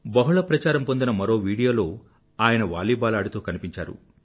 బహుళ ప్రచారం పొందిన మరో వీడియోలో ఆయన వాలీబాల్ ఆడుతూ కనిపించారు